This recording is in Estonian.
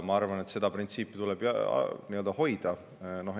Ma arvan, et seda printsiipi tuleb hoida.